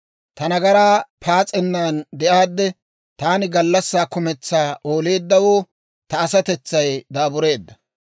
Ta nagaraa paas'ennan de'aadde, Taani gallassaa kumentsaa ooleeddawoo ta asatetsay daabureedda.